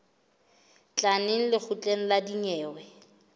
tla neng lekgotleng la dinyewe